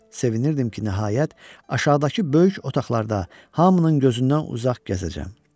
Sevinirdim ki, nəhayət aşağıdakı böyük otaqlarda hamının gözündən uzaq gəzəcəm.